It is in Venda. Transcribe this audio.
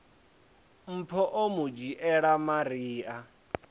mpho o mu dzhiela maria